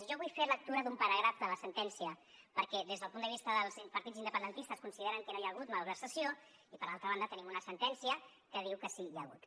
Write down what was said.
i jo vull fer lectura d’un paràgraf de la sentència perquè des del punt de vista dels partits independentistes consideren que no hi ha hagut malversació i per altra banda tenim una sentència que diu que sí que n’hi ha hagut